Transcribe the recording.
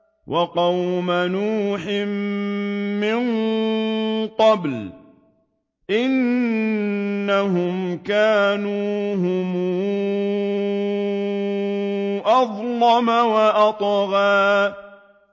وَقَوْمَ نُوحٍ مِّن قَبْلُ ۖ إِنَّهُمْ كَانُوا هُمْ أَظْلَمَ وَأَطْغَىٰ